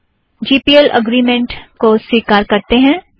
जी P L agreement को स्वीकार करतें हैं